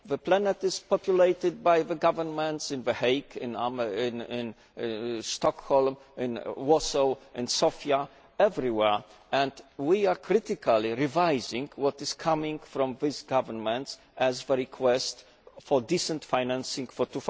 The planet is populated by the governments in The Hague, in Stockholm, in Warsaw, in Sofia, everywhere, and we are critically revising what is coming from these governments as their request for decent financing for